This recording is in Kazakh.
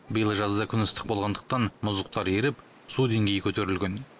биыл жазда күн ыстық болғандықтан мұздықтар еріп су деңгейі көтерілген